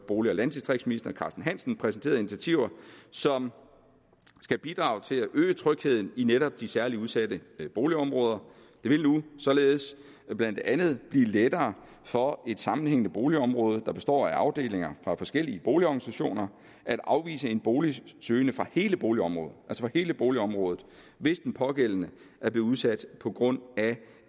bolig landdistriktsministeren præsenteret initiativer som skal bidrage til at øge trygheden i netop de særlig udsatte boligområder det vil nu således blandt andet blive lettere for et sammenhængende boligområde der består af afdelinger fra forskellige boligorganisationer at afvise en boligsøgende fra hele boligområdet hele boligområdet hvis den pågældende er blevet udsat på grund af